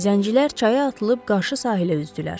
Zəncilər çaya atılıb qarşı sahilə üzdülər.